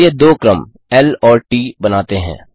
चलिए दो क्रम ल और ट बनाते हैं